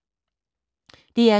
DR2